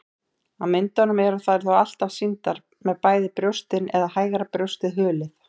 Á myndum eru þær þó alltaf sýndar með bæði brjóstin eða hægra brjóstið hulið.